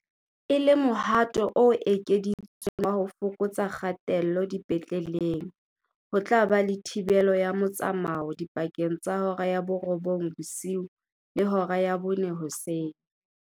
E le mohato o ekeditsweng wa ho fokotsa kgatello dipetleleng, ho tla ba le thibelo ya motsamao dipakeng tsa hora ya borobong bosiu le hora ya bone hoseng.